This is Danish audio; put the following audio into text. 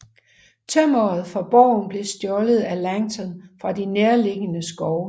Tømmeret fra borgen blev stjålet af Langton fra de nærliggende skove